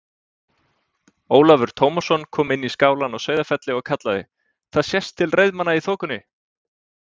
Ólafur Tómasson kom inn í skálann á Sauðafelli og kallaði:-Það sést til reiðmanna í þokunni!